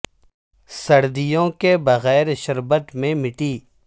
سردیوں کے بغیر سردیوں کے بغیر شربت میں مٹی